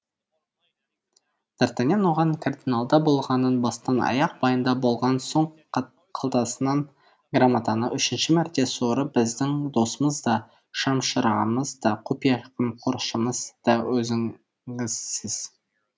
д артаньян оған кардиналда болғанын бастан аяқ баяндап болған соң қалтасынан грамотаны үшінші мәрте суырып біздің досымыз да шам шырағымыз да құпия қамқоршымыз да өзіңізсіз